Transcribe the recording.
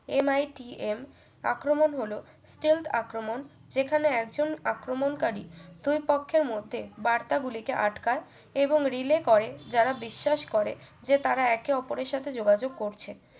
MITM আক্রমণ হলো stelth আক্রমণ যেখানে একজন আক্রমণকারী দুই পক্ষের মধ্যে বার্তাগুলি কে আটকায় এবং relay করেন যারা বিশ্বাস করে যে তারা একে অপরের সাথে যোগাযোগ করছে